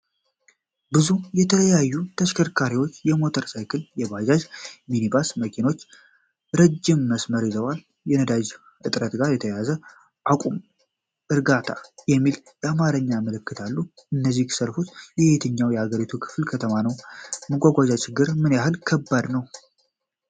ብዙ የተለያዩ ተሽከርካሪዎች (ሞተር ሳይክሎች፣ ባጃጆች፣ ሚኒባሶች፣ መኪኖች) ረጅም መስመር ይዘዋል። ከነዳጅ እጥረት ጋር በተያያዘ “አቁም!” እና “በእርጋታ” የሚሉ የአማርኛ ምልክቶች አሉ። እነዚህ ሰልፎች በየትኛው የአገሪቱ ከተማ ነው? የመጓጓዣ ችግር ምን ያህል ከባድ ነው?